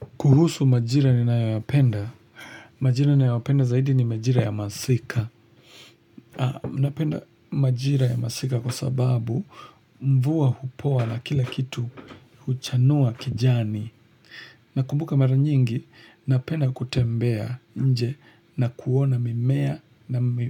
pKuhusu majira ni nayoyapenda. Majira ninayopenda zaidi ni majira ya masika. Napenda majira ya masika kwa sababu mvua hupoa na kila kitu huchanua kijani. Nakumbuka mara nyingi napenda kutembea nje na kuona mimea